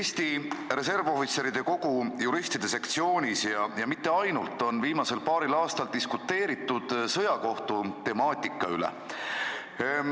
Eesti Reservohvitseride Kogu juristide sektsioonis ja mitte ainult seal on viimasel paaril aastal diskuteeritud sõjakohtutemaatika üle.